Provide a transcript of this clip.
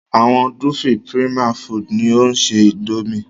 Àwọn "Dufil Prima Foods" ni o ṣe Índòmí.